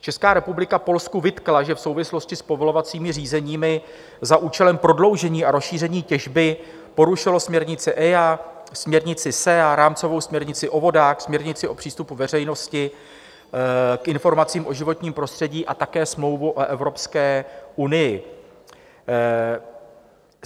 Česká republika Polsku vytkla, že v souvislosti s povolovacími řízeními za účelem prodloužení a rozšíření těžby porušilo směrnici EIA, směrnici SEA, rámcovou směrnici o vodách, směrnici o přístupu veřejnosti k informacím o životním prostředí a také Smlouvu o Evropské unii.